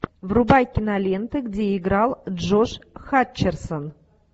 врубай киноленты где играл джош хатчерсон